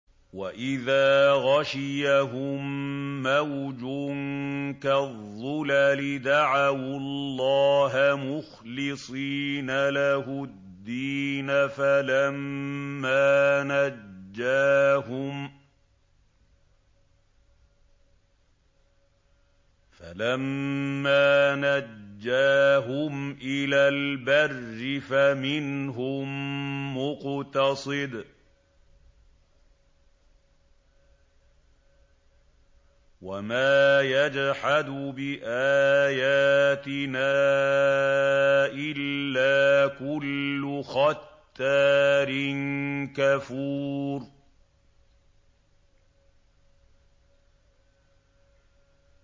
وَإِذَا غَشِيَهُم مَّوْجٌ كَالظُّلَلِ دَعَوُا اللَّهَ مُخْلِصِينَ لَهُ الدِّينَ فَلَمَّا نَجَّاهُمْ إِلَى الْبَرِّ فَمِنْهُم مُّقْتَصِدٌ ۚ وَمَا يَجْحَدُ بِآيَاتِنَا إِلَّا كُلُّ خَتَّارٍ كَفُورٍ